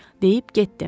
Deyib getdi.